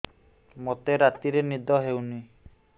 ମୋତେ ରାତିରେ ନିଦ ହେଉନି